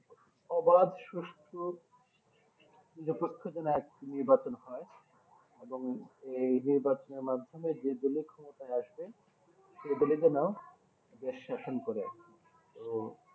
আবাদ সুস্থ যে পক্ষ জনক এক নির্বাচন হয় এবং এই নির্বাচনের মাধ্যমে যেগুলি ক্ষমতায় আসবে সেগুলি কে দেশ শাসন করে তো